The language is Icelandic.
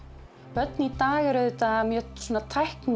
börn í dag eru auðvitað mjög